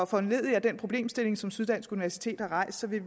foranlediget af den problemstilling som syddansk universitet har rejst vil